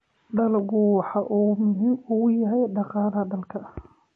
Dalaggu waxa uu muhiim u yahay dhaqaalaha dalka.